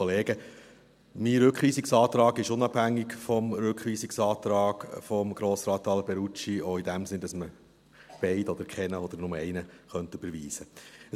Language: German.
Mein Rückweisungsantrag ist unabhängig vom Rückweisungsantrag von Grossrat Alberucci, auch im Sinne, dass man beide oder keinen oder nur einen überweisen könnte.